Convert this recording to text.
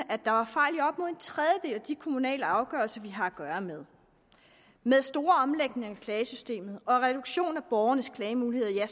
tredjedel af de kommunale afgørelser vi har at gøre med med en stor omlægning af klagesystemet og reduktion af borgernes klagemulighed er